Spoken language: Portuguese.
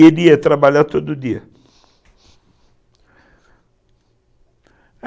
E ele ia trabalhar todo dia.